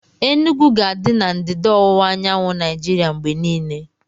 Enugwu ga-adị na ndịda ọwụwa anyanwụ Naijiria mgbe niile